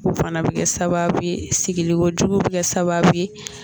O fana bi kɛ sababu ye sigikojugu bɛ kɛ sababu ye